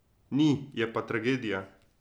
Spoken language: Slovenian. Ni, je pa tragedija.